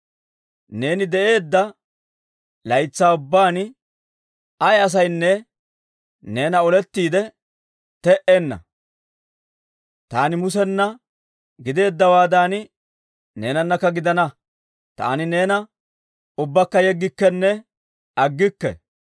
Neeni de'eedda laytsaa ubbaan ay asaynne neena olettiide te"enna. Taani Musena gideeddawaadan, neenanakka gidana; taani neena ubbakka yeggikkenne aggikke.